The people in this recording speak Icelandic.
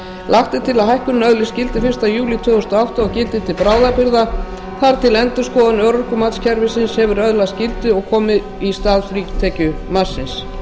lagt er til að hækkunin öðlist gildi fyrsta júlí tvö þúsund og átta og gildi til bráðabirgða þar til endurskoðað örorkumatskerfi hefur öðlast gildi og komi í stað frítekjumarksins